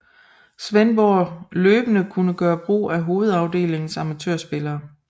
Svendborg løbende kunne gøre brug af hovedafdelingens amatørspillere